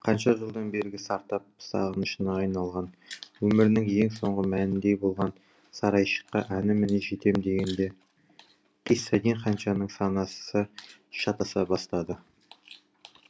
қанша жылдан бергі сартап сағынышына айналған өмірінің ең соңғы мәніндей болған сарайшыққа әні міне жетем дегенде қисса дин ханшаның санасы шатаса бастады